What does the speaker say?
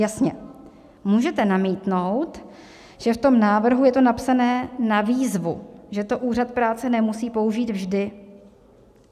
Jasně, můžete namítnout, že v tom návrhu je to napsané "na výzvu", že to úřad práce nemusí použít vždy.